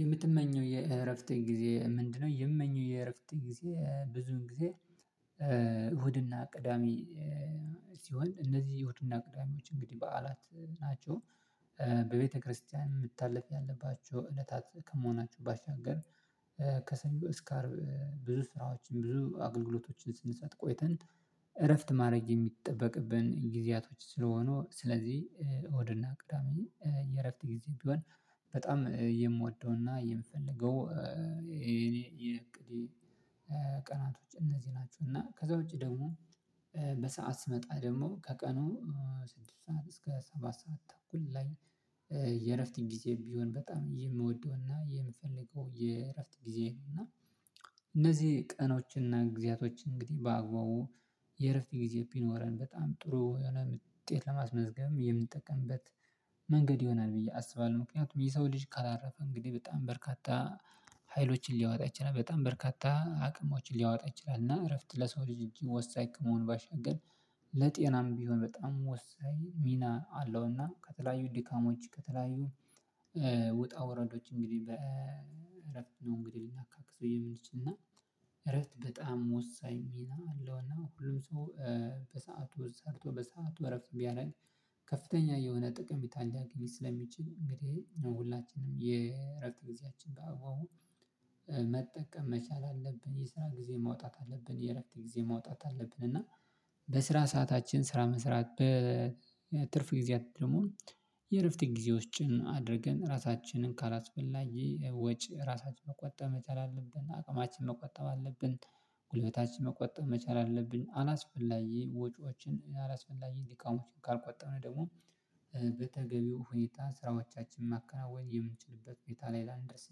"የምትመኘው የእረፍት ጊዜ ምንድነው?" የምመኘው የእረፍት ጊዜ ብዙ ጊዜ እሁድና ቅዳሜ ሲሆን እነዚህ እሁድና ቅዳሜዎች እንግዲህ በዓላት ናቸው። በቤት ክርስ የምታለፍ ያለባችሁ እለታት ከመሆናቸው ባሻገር ከሰኞ እስከ አርብ ብዙ ስራዎችን ብዙ አገልግሎቶችን ስንሰጥ ቆይተን እረፍት ማድረግ የሚጠበቅብን ጊዜያቶች ስለሆኑ ስለዚህ እሁድና ቅዳሜ የእረፍት ጊዜ ቢሆን በጣም የምወደውና የምፈልገው የኔ የእቅዴ ቀናቶች እነዚህ ናቸው። እና ከዛ ውጪ ደግሞ በሰአት ስመጣ ደግሞ ከቀኑ ስድስት ሰዓት እስከ ሰባት ሰዓት ተኩል ላይ የእረፍት ጊዜዬም ቢሆን በጣም የምወደውና የምፈልገው የእረፍት ጊዜዬ ነው፤ እና እነዚህ ቀኖችንና ጊዜያቶችን እንግዲህ በአግባቡ የእረፍት ጊዜ ቢኖረን በጣም ጥሩ የሆነ ምጤት ለማስመዝገብም የምንጠቀምበት መንገድ ይሆናል ብዬ አስባለሁ። ምክንያቱም የሰው ልጅ ካላረፈ እንግዲህ በጣም በርካታ ሀይሎችን ሊያወጣ ይችላል። በጣም በርካታ አቅሞችን ሊያወጣ ይችላል። እና እረፍት ለሰው ልጅ እጅግ ወሳኝ ከመሆኑ ባሻገር ለጤናም ቢሆን በጣም ወሳኝ ሚና አለው፤ እና ከተለያዩ ድካሞች ከተለያዩ ውጣ ውረዶች እንግዲህ በእረፍት ነው እንግዲህ ልናካክሰው የምንችል፤ እና እረፍት በጣም ወሳኝ ሚና አለው፤ እና ሁሉም ሰው በሰአቱ ውስጥ ሰርቶ በሰአቱ እረፍት ቢያደርግ ከፍተኛ የሆነ ጥቅሜታን ሊያገኝ ስለሚችል እንግዲህ ሁላችንም የእረፍት ጊዜያችንን በአግባቡ መጠቀም መቻል አለብን የስራ ጊዜ ማውጣት አለብን የእረፍት ጊዜ ማውጣት አለብን፤ እና በስራ ሰዓታችን ስራ መስራት፤ በትርፍ ጊዜያት ደግሞ የእረፍት ጊዜዎጭን አድርገን ራሳችንን ካላስፈላጊ ወጪ ራሳችንን መቆጠብ መቻል አለብን፤ አቅማችንን መቆጠብ አለብን። ጉልበታችንን መቆጠብ መቻል አለብን። አላስፈላጊ ወጪዎችን አላስፈላጊ ድካሞችን ካልቆጠርን ደግሞ በተገቢው ሁኔታ ስራዎቻችንን ማከናወን የምንችልበት ሁኔታ ላይ ላንደርስ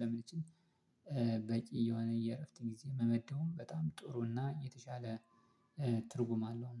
ለመለችን በቂ የሆነ የእረፍት ጊዜ መመደቡም በጣም ጥሩ እና የተሻለ ትርጉም አለው።